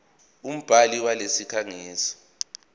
umbhali walesi sikhangisi